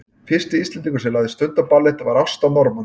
fyrsti íslendingurinn sem lagði stund á ballett var ásta norman